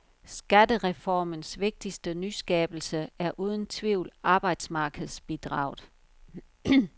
Skattereformens vigtigste nyskabelse er uden tvivl arbejdsmarkedsbidraget.